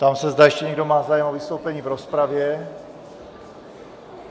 Ptám se, zda ještě někdo má zájem o vystoupení v rozpravě.